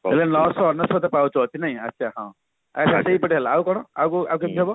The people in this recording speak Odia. ଏବେ ନଶହ ଅନେଶୋତ ପାହୁଚ ଅଛି ନାଇଁ ଆଛା ହଁ ଆଉ କଣ ଆଉ କେମତି ହବ